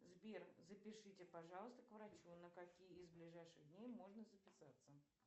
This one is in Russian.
сбер запишите пожалуйста к врачу на какие из ближайших дней можно записаться